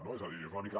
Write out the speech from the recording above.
no és a dir és una mica